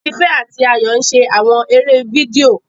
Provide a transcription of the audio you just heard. Tife ati Ayo n ṣe awọn eré fídíò